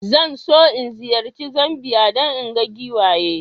Zan so in ziyarci Zambiya don in ga giwaye.